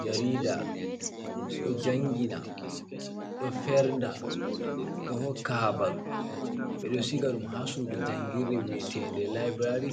Jarida ɗo njangina, ɗo fernda, ɗo hokka habaru, ɓe ɗo shigaɗum ha sudu njangirde viyetede laibrary,